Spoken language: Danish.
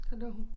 Så lå hun